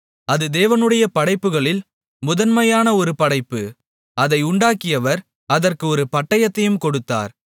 அது தேவனுடைய படைப்புகளில் முதன்மையான ஒரு படைப்பு அதை உண்டாக்கினவர் அதற்கு ஒரு பட்டயத்தையும் கொடுத்தார்